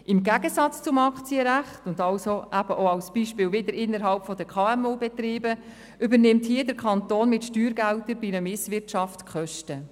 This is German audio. Im Gegensatz zum Aktienrecht übernimmt der Kanton im Fall von Misswirtschaft die Kosten, wofür dann Steuergelder eingesetzt werden.